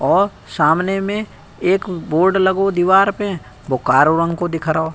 औ सामने में एक बोर्ड लगो दीवार पे वो कारो रंग को दिख रौ।